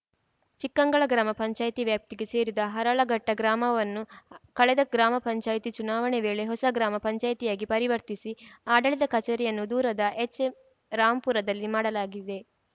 ಚಿಕ್ಕಂಗಳ ಗ್ರಾಮ ಪಂಚಾಯ್ತಿ ವ್ಯಾಪ್ತಿಗೆ ಸೇರಿದ್ದ ಹರಳಘಟ್ಟಗ್ರಾಮವನ್ನು ಕಳೆದ ಗ್ರಾಮ ಪಂಚಾಯ್ತಿ ಚುನಾವಣೆ ವೇಳೆ ಹೊಸ ಗ್ರಾಮ ಪಂಚಾಯ್ತಿಯಾಗಿ ಪರಿವರ್ತಿಸಿ ಆಡಳಿತ ಕಚೇರಿಯನ್ನು ದೂರದ ಎಚ್‌ಎಂ ರಾಂಪುರದಲ್ಲಿ ಮಾಡಲಾಗಿದೆ